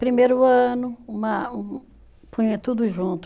Primeiro ano, uma um punha tudo junto.